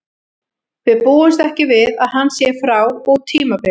Við búumst ekki við að hann sé frá út tímabilið.